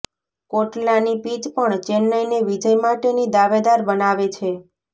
કોટલાની pitch પણ ચેન્નઈને વિજય માટેની દાવેદાર બનાવે છે